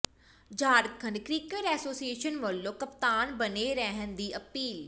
Jharkhand cricket association ਵੱਲੋਂ ਕਪਤਾਨ ਬਣੇ ਰਹਿਣ ਦੀ ਅਪੀਲ